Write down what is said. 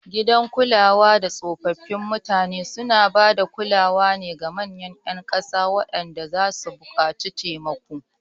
Gidan kulada tsofaffin mutane suna ba da kulawar ga manyan ƴan ƙasa waɗanda zasu buƙaci taimako.